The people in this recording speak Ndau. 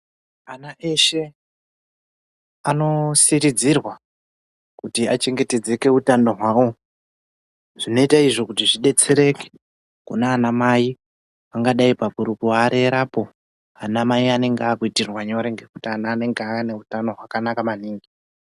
Ana eshe ano siridzirwa kuti achengetedzeke utano hwawo zvinoite izvo kuti zvidetsereke kunana mai pangadai pakuru kuva rerera po ama mai anenge akuitirwa nyore ngekuti ana anenge ane utano hwakanaka maningi.